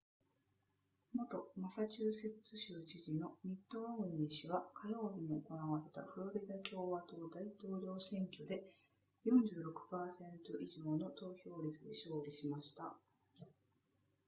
元マサチューセッツ州知事のミットロムニー氏は火曜日に行われたフロリダ共和党大統領選挙で 46% 以上の得票率で勝利しました